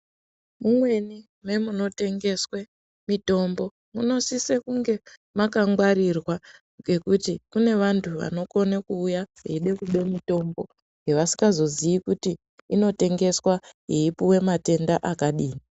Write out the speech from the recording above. Mumweni memunotengeswe mitombo munosise kunge makangwarirwa nekuti kune vantu vanokona kuuya veide kube yavasikazoziyi kuti inotengeswa yeipiwa matenda akadini.